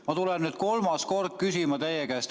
Ma küsin nüüd teie käest kolmandat korda.